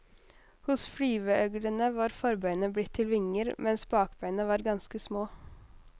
Hos flyveøglene var forbeina blitt til vinger, mens bakbeina var ganske små.